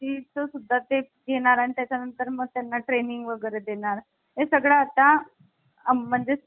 बेचाळिसवी घटनादुरुस्ती एकोणविशे शाहत्तर नुसार प्रस्तावनेत करण्यात आलेला आहे. यानंतर प्रस्तावना हे घटनेचा भाग आहे कि नाही असा विवाद निर्माण झाला